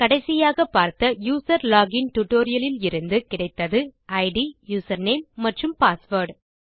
கடைசியாக பார்த்த user login tutorial இலிருந்து கிடைத்தது இட் யூசர்நேம் மற்றும் பாஸ்வேர்ட்